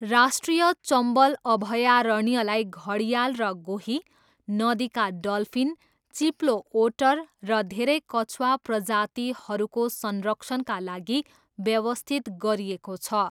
राष्ट्रिय चम्बल अभयारण्यलाई घडियाल र गोही, नदीका डल्फिन, चिप्लो ओटर र धेरै कछुवा प्रजातिहरूको संरक्षणका लागि व्यवस्थित गरिएको छ।